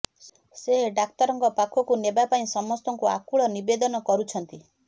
ସେ ଡାକ୍ତରଙ୍କ ପାଖକୁ ନେବାପାଇଁ ସମସ୍ତଙ୍କୁ ଆକୁଳ ନିବେଦନ କରୁଛନ୍ତି